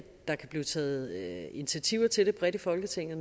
der kan blive taget initiativer til det bredt i folketinget